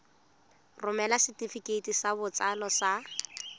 romela setefikeiti sa botsalo sa